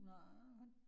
Nej